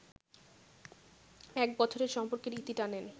এক বছরের সম্পর্কের ইতি টানেন